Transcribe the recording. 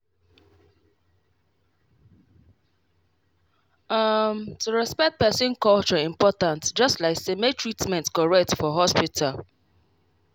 ehm to respect person culture important just like say make treatment correct for hospital.